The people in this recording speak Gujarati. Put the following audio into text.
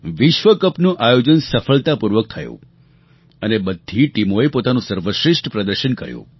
વિશ્વકપનું આયોજન સફળતાપૂર્વક થયું અને બધી ટીમોએ પોતાનું સર્વશ્રેષ્ઠ પ્રદર્શન કર્યું